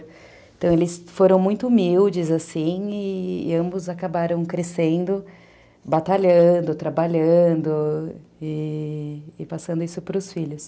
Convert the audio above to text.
Então, eles foram muito humildes assim, e ambos acabaram crescendo, batalhando, trabalhando e passando isso para os filhos.